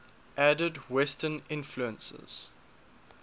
added western influences